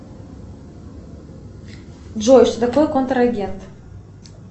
джой что такое контрагент